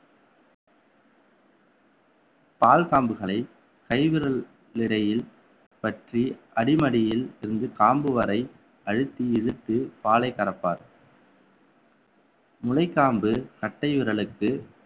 பால் காம்புகளை கைவிரல் இடையில் பற்றி அடிமடியில் இருந்து காம்பு வரை அழுத்தி இழுத்து பாலை கறப்பார் முளைக்காம்பு கட்டை விரலுக்கு